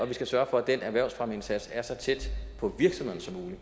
vi skal sørge for at den erhvervsfremmeindsats er så tæt på virksomhederne